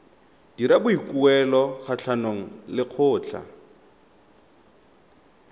dira boikuelo kgatlhanong le lekgotlha